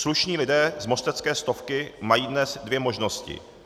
Slušní lidé z mostecké Stovky mají dnes dvě možnosti.